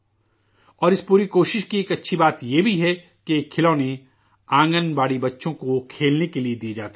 اور اس پوری کوششوں کی ایک اچھی بات یہ بھی ہے کہ یہ کھلونے آنگن باڑی کے بچوں کو کھیلنے کے لیے دیے جاتے ہیں